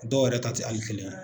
Dɔw yɛrɛ ta tɛ hali kɛnɛyaɛ